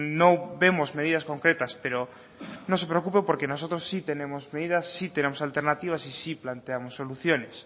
no vemos medidas concretas pero no se preocupe porque nosotros sí tenemos medidas sí tenemos alternativas y sí planteamos soluciones